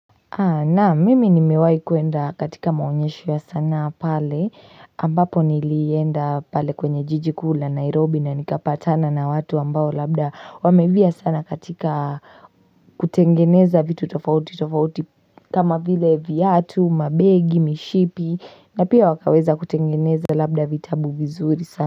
Naam mimi nimiwahi kuenda katika maonyesho ya sanaa pale ambapo nilienda pale kwenye jiji kuu la nairobi na nikapatana na watu ambao labda wameivia sana katika kutengeneza vitu tofauti tofauti kama vile viatu mabegi mishipi na pia wakaweza kutengeneza labda vitabu vizuri sana.